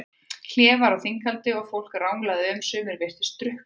Hlé var á þinghaldi og fólk ranglaði um, sumir virtust drukknir.